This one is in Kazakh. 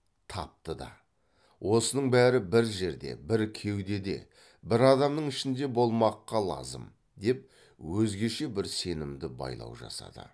тапты да осының бәрі бір жерде бір кеудеде бір адамның ішінде болмаққа лазым деп өзгеше бір сенімді байлау жасады